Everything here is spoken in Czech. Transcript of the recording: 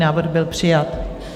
Návrh byl přijat.